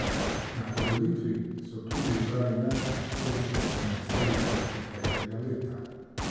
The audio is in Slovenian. Na podelitvi so tudi izbrali najboljšo enajsterico preteklega leta.